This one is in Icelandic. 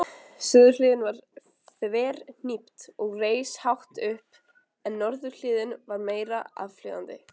Suðurhliðin var þverhnípt og reis hátt upp en norðurhliðin var meira aflíðandi.